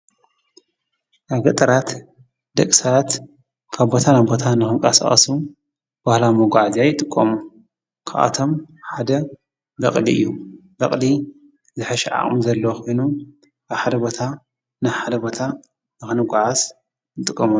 ኣብ ገጠራት ደቂ ስባት ካብ ቦታ ናብ ቦታ ንክቀሳቀሱ ባህላዊ መጓዝያ ይጥቀሙ፤ ካባቶም ሓደ በቅሊ እዩ ፤በቅሊ ዝሕሸ ዓቅሚ ዘለዎ ኮይኑ ኣብ ሓደ ቦታ ናብ ሓደ ቦታ ንክንጓዓዓዝ ንጥቀመሉ።